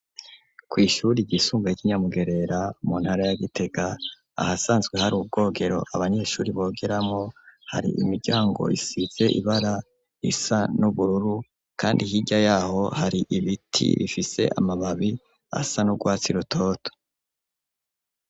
Kw'ishuri ryisumbuye ry'i Nyamugerera, mu ntara ya Gitega, ahasanzwe hari ubwogero abanyeshuri bogeramwo, hari imiryango isize ibara risa n'ubururu, kandi hirya y'aho hari ibiti bifise amababi asa n'urwatsi rutoto.